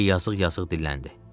Briken yazıq-yazıq dilləndi.